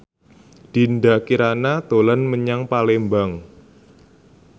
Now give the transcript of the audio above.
Dinda Kirana dolan menyang Palembang